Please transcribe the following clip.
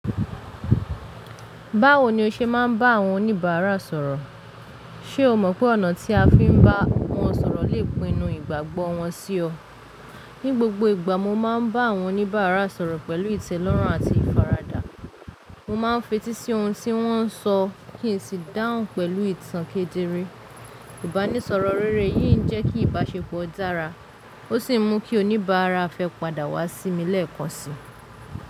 Báwo ni o ṣe máa ń bá àwọn oníbàárà sọ̀rọ̀? Ṣé o mọ̀ pé ọ̀nà tí a fi ń bá wọn sọ̀rọ̀ lè pinnu ìgbàgbọ́ wọn sí ọ. Ní gbogbo ìgbà, mo máa ń bá àwọn oníbàárà sọ̀rọ̀ pẹ̀lú ìtẹ́lọ́rùn àti ìfaradà. Mo máa ń fetí sí ohun tí wọ́n ń sọ kí n sì dáhùn pẹ̀lú ìtàn kéde ré. Ìbánisọ̀rọ̀ rere yìí ń jẹ́ kí ìbáṣepọ̀ dára ó sì mú kí oníbàárà fẹ́ padà wá sí mi lẹ́ẹ̀kan si.